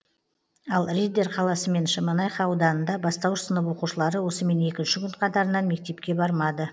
ал риддер қаласы мен шемонайха ауданында бастауыш сынып оқушылары осымен екінші күн қатарынан мектепке бармады